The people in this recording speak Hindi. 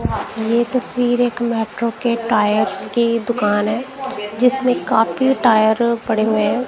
ये तस्वीर एक मेट्रो के टायर्स की दुकान है जिसमें काफी टायर पड़े हुए हैं।